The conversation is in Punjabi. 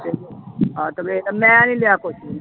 ਹਾਂ ਤੇ ਫਿਰ ਮੈਂ ਨੀ ਲਿਆ ਕੁਛ ਵੀ।